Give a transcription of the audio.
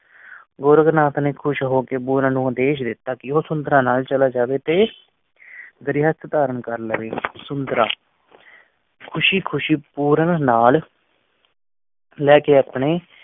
ਗੋਰਖ ਨਾਥ ਨੇ ਖੁਸ਼ ਹੋ ਕੇ ਪੂਰਨ ਨੂੰ ਆਦੇਸ਼ ਦਿੱਤਾ ਕਿ ਉਹ ਨਾਲ ਚਲਾ ਜਾਵੇ ਰਹਿਤ ਧਾਰਨ ਕਰ ਲਵੇ ਸਮੁੰਦਰਾ ਖੁਸ਼ੀ-ਖੁਸ਼ੀ ਪੋਰਨ ਨਾਲ ਲੈ ਕੇ ਅਰਥ